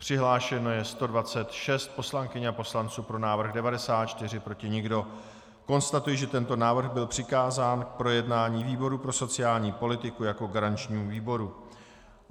Přihlášeno je 126 poslankyň a poslanců, pro návrh 94, proti nikdo, konstatuji, že tento návrh byl přikázán k projednání výboru pro sociální politiku jako garančnímu výboru.